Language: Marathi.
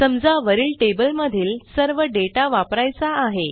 समजा वरील टेबलमधील सर्व डेटा वापरायचा आहे